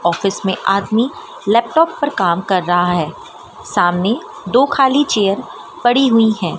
Office में आदमी laptop पर काम कर रहा है सामने दो खाली चेयर पड़ी हुई है।